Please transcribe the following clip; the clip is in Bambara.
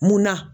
Munna